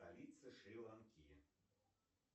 столица шри ланки